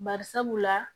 Bari sabula